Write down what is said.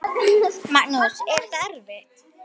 Magnús: Er þetta erfitt?